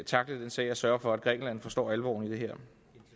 tackle den sag og sørge for at grækenland forstår alvoren i det her